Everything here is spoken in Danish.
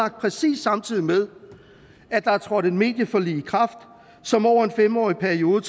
præcis samtidig med at der er trådt et medieforlig i kraft som over en fem årig periode